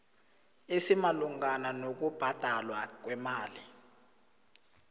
esimalungana nokubhadalwa kwemali